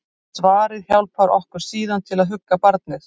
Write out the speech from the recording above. Svarið hjálpar okkur síðan til að hugga barnið.